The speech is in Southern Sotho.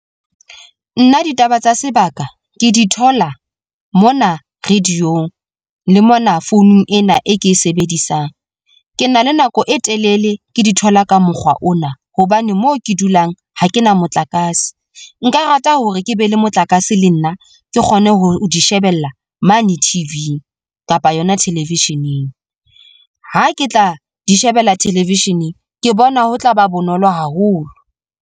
Nna ditaba tsa sebaka ke di thola mona radio ong le mona founung ena e ke e sebedisang. Ke na le nako e telele ke di thola ka mokgwa ona, hobane moo ke dulang ha ke na motlakase, nka rata hore ke be le motlakase le nna ke kgone ho di shebella mane T_V-ing kapa yona television-eng. Ha ke tla di shebella television-eng ke bona ho tlaba bonolo haholo.